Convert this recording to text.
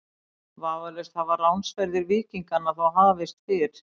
Vafalaust hafa ránsferðir víkinganna þó hafist fyrr.